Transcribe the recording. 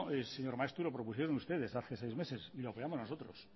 señor maeztu lo propusieron ustedes hace seis meses y lo apoyamos nosotros